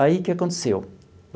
Aí, o que aconteceu?